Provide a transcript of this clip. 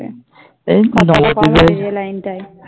এই নবদ্বীপ